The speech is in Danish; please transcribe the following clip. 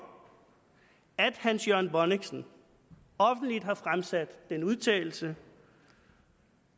at hans jørgen bonnichsen offentligt har fremsat den udtalelse